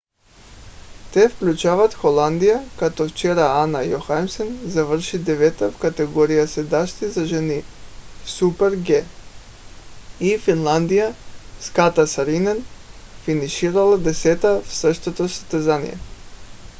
те включват холандия като вчера ана йохимисен завърши девета в категорията седящи за жени в super-g и финландия с катя сааринен финиширала десета в същото състезание